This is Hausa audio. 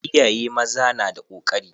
Iyaye maza na da kokari.